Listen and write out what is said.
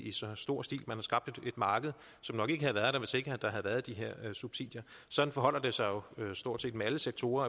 i så stor stil man har skabt et marked som nok ikke havde været der hvis ikke der havde været de her subsidier og sådan forholder det sig jo stort set med alle sektorer